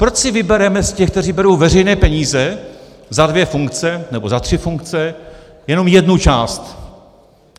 Proč si vybereme z těch, kteří berou veřejné peníze za dvě funkce, nebo za tři funkce, jenom jednu část.